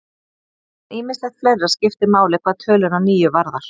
En ýmislegt fleira skiptir máli hvað töluna níu varðar.